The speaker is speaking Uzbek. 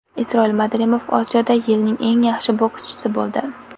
Isroil Madrimov Osiyoda yilning eng yaxshi bokschisi bo‘ldi.